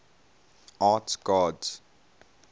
arts gods